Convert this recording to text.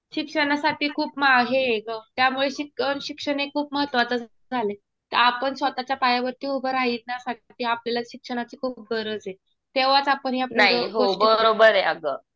शिक्षणासाठी खूप हे अगं. त्यामुळे शिक्षण हे खूप महत्वाचं झालंय. आपण स्वतःच्या पायावर उभं राहण्यासाठी आपल्याला शिक्षणाची खूप गरज आहे. तेव्हाच आपण या पुढं गोष्टी